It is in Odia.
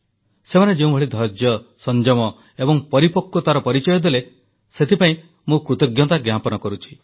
ସେମାନେ ଯେଉଁଭଳି ଧୈର୍ଯ୍ୟ ସଂଯମ ଏବଂ ପରିପକ୍ୱତାର ପରିଚୟ ଦେଲେ ସେଥିପାଇଁ ମୁଁ କୃତଜ୍ଞତା ଜ୍ଞାପନ କରୁଛି